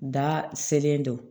Da selen don